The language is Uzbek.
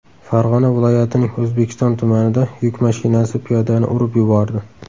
Farg‘ona viloyatining O‘zbekiston tumanida yuk mashinasi piyodani urib yubordi.